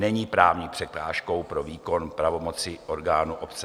Není právní překážkou pro výkon pravomocí orgánů obce.